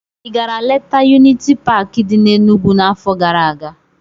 Ị gara letaa Yuniti Paakị dị n'Enugwu n'afọ gara aga?